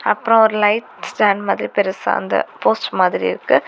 அப்புறம் ஒரு light stand மாதிரி பெருசா அந்த போஸ்ட் மாதிரி இருக்கு.